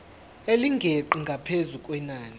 elingeqi ngaphezu kwenani